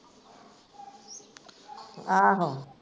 ਆਹੋ